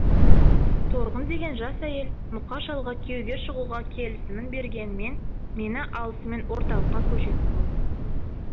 торғын деген жас әйел мұқа шалға күйеуге шығуға келісімін бергенімен мені алысымен орталыққа көшетін болсын